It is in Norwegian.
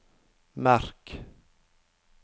merk